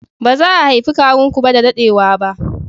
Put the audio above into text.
Ba za a haifi kawun ku ba da daɗewa ba